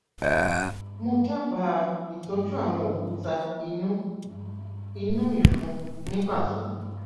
mo dábàá itọjú àwọn òkúta inú inú ìfun ní pàtó